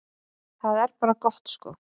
Það er bara gott sko.